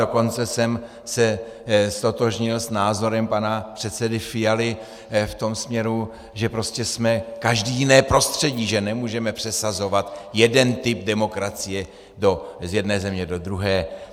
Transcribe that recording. Dokonce jsem se ztotožnil s názorem pana předsedy Fialy v tom směru, že prostě jsme každý jiné prostředí, že nemůžeme přesazovat jeden typ demokracie z jedné země do druhé.